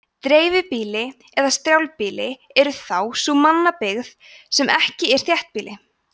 dreifbýli eða strjálbýli er þá sú mannabyggð sem ekki er þéttbýli